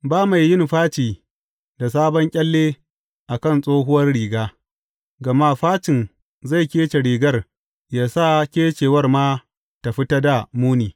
Ba mai yin faci da sabon ƙyalle a kan tsohuwar riga, gama facin zai kece rigar yă sa kecewar ma ta fi ta dā muni.